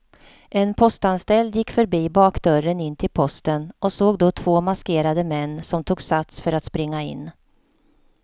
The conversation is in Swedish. En postanställd gick förbi bakdörren in till posten och såg då två maskerade män som tog sats för att springa in.